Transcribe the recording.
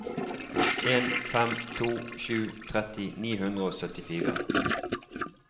en fem to sju tretti ni hundre og syttifire